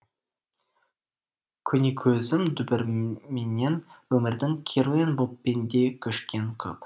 көнекөзім дүбіріменен өмірдің керуен боп пенде көшкен көп